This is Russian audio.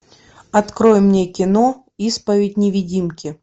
открой мне кино исповедь невидимки